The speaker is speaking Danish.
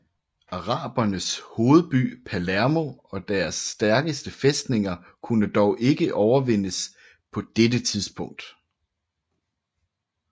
Arabernes hovedby Palermo og deres stærkeste fæstninger kunne dog ikke overvindes på det tidspunkt